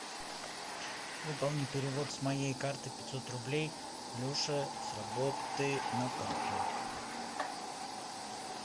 выполни перевод с моей карты пятьсот рублей леша с работы на карту